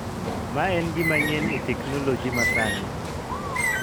ma en gima nyien e teknoloji masani.